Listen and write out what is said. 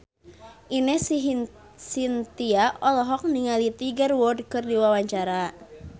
Ine Shintya olohok ningali Tiger Wood keur diwawancara